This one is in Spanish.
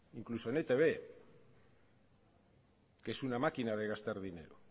incluso en etb que es una máquina de gastar dinero